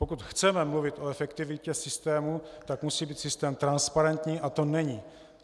Pokud chceme mluvit o efektivitě systému, tak musí být systém transparentní, a to není.